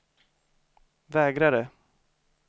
vägrade